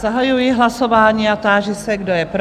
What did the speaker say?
Zahajuji hlasování a táži se, kdo je pro?